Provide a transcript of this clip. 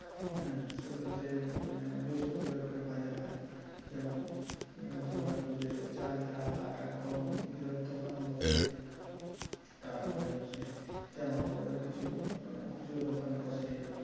হ্যাঁ সেগুলাতে বৃহস্পতিবার করে বাজার হয় যেমন ধরে রাখো যে চাল ডাল আটা গম এগুলার দোকান ও বসে তারপরে হচ্ছে জামাকাপড়ও কিছু খুচরো দোকান বসে